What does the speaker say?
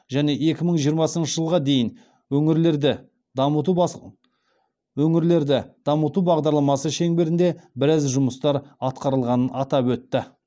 және екі мың жиырмасыншы жылға дейін өңірлерді дамыту бағдарламасы шеңберінде біраз жұмыстар атқарылғанын атап өтті